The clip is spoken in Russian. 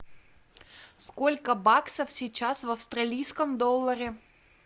сколько баксов сейчас в австралийском долларе